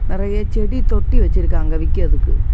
நிறைய செடி தொட்டி வச்சிருக்காங்க விக்கிறதுக்கு.